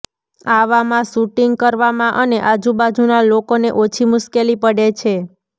આવામાં શૂટિંગ કરવામાં અને આજુબાજુનાં લોકોને ઓછી મુશ્કેલી પડે છે